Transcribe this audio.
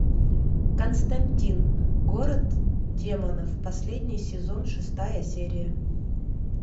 константин город демонов последний сезон шестая серия